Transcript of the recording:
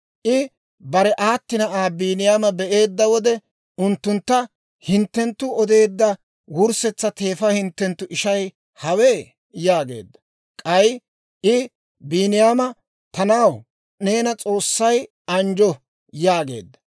I bare aati na'aa Biiniyaama be'eedda wode unttuntta, «hinttenttu odeedda wurssetsa teefa hinttenttu ishay hawe?» yaageedda. K'ay I Biiniyaama, «Ta na'aw, neena S'oossay anjjo» yaageedda.